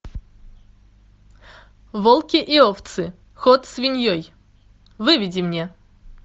волки и овцы ход свиньей выведи мне